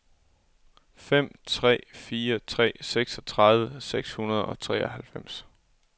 fem tre fire tre seksogtredive seks hundrede og treoghalvfems